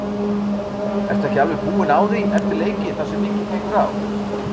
Ertu ekki alveg búinn á því eftir leiki þar sem mikið gengur á?